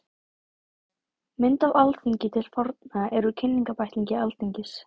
Mynd af Alþingi til forna er úr Kynningarbæklingi Alþingis.